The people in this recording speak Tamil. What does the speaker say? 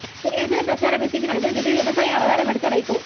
தேர்தல் பிரச்சார பிஸிக்கு நடுவில் திடீர் விவசாயி அவதாரம் எடுத்த வைகோ